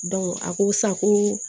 a ko sa koo